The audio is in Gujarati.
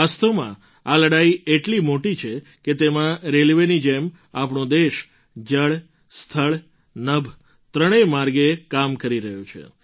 વાસ્તવમાં આ લડાઈ એટલી મોટી છે કે તેમાં રેલવેની જેમ આપણો દેશ જળ સ્થળ નભ ત્રણેય માર્ગે કામ કરી રહ્યો છે